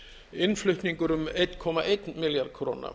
innflutningur um einn komma einn milljarð króna